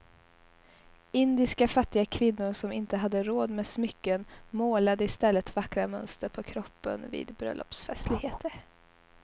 Indiska fattiga kvinnor som inte hade råd med smycken målade i stället vackra mönster på kroppen vid bröllopsfestligheter.